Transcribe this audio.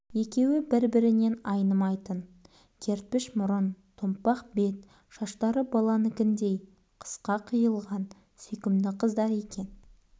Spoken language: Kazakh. екеуі бір-бірінен айнымайтын кертпіш мұрын томпақ бет шаштары баланікіндей қысқа қиылған сүйкімді қыздар екен